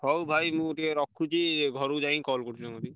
ହଉ ଭାଇ ମୁଁ ଟିକେ ରଖୁଛି ଘରୁକୁ ଯାଇ call କରୁଚି ତମ କତିକି।